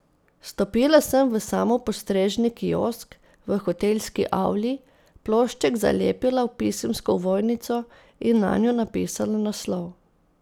Stopila sem v samopostrežni kiosk v hotelski avli, plošček zalepila v pisemsko ovojnico in nanjo napisala naslov.